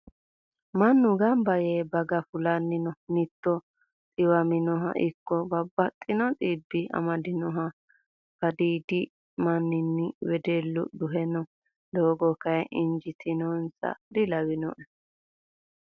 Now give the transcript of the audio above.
Mannu ganba yee baga fulanni noo. Mitto dhiwaminoha ikko babbaxino dhibbi amadinoha badhiidi manni wedellu duhe no. Doogo kayii injiitinonsaha dilawinoe.